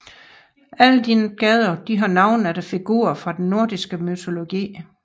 Alle disse gader har navne efter figurer fra den nordiske mytologi